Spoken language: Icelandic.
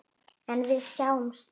En við sitjum hér